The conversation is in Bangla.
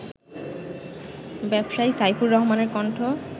ব্যবসায়ী সাইফুর রহমানের কণ্ঠ